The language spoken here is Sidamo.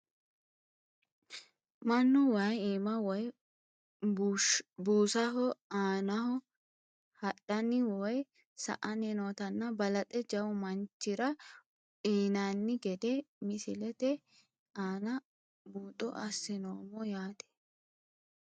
Mannu wayi iima woyi buusaho aanaho hadhani woyi sa`ani nootana balanxe jawu manichira uyinani gede misilete aana buuxo asinoomo yaate.